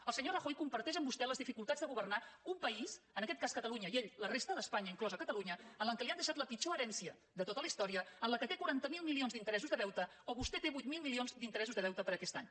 el senyor rajoy comparteix amb vostè les dificultats de governar un país en aquest cas catalunya i ell la resta d’espanya inclosa catalunya en què li han deixat la pitjor herència de tota la història en què té quaranta miler milions d’interessos de deute o vostè té vuit mil milions d’interessos de deute per a aquest any